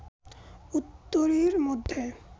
উত্তরীর মধ্যে